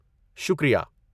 شکریہ۔